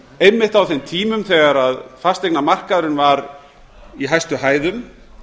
einmitt á þeim tímum þegar fasteignamarkaðurinn var í hæstu hæðum